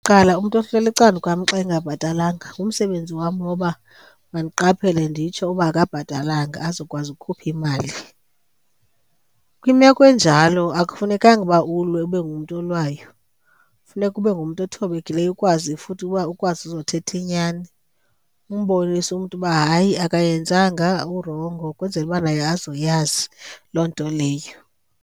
Kuqala umntu ohleli ecaleni kwam xa engabhatalanga ngumsebenzi wam woba mandiqaphele nditsho uba akabhatalanga azokwazi ukukhupha imali. Kwimeko enjalo akufunekanga uba ulwe ube ngumntu olwayo, funeka ube ngumntu othobekileyo ukwazi futhi uba ukwazi uzothetha inyani. Umbonise umntu uba hayi akayenzanga urongo ukwenzela uba naye azoyazi loo nto leyo.